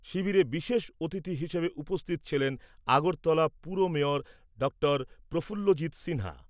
শিবিরে বিশেষ অতিথি হিসেবে উপস্থিত ছিলেন আগরতলা পুর মেয়র ডঃ প্রফুল্লজিৎ সিনহা।